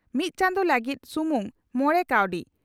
ᱢᱤᱛ ᱪᱟᱸᱫᱚ ᱞᱟᱹᱜᱤᱫ ᱥᱩᱢᱩᱝ ᱢᱚᱲᱮ ᱠᱟᱣᱰᱤ